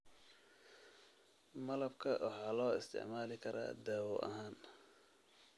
Malabka waxaa loo isticmaali karaa daawo ahaan.